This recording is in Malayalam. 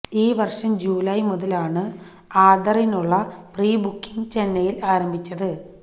ഈ വര്ഷം ജൂലായ് മുതലാണ് ആതറിനുള്ള പ്രീ ബുക്കിങ് ചെന്നൈയില് ആരംഭിച്ചത്